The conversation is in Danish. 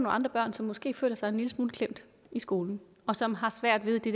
andre børn som måske føler sig en lille smule klemt i skolen og som har svært ved det